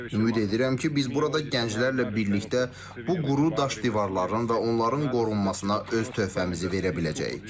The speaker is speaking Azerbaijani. Ümid edirəm ki, biz burada gənclərlə birlikdə bu quru daş divarların və onların qorunmasına öz töhfəmizi verə biləcəyik.